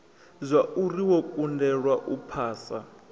zwauri wo kundelwa u phasa